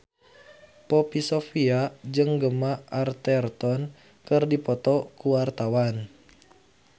Poppy Sovia jeung Gemma Arterton keur dipoto ku wartawan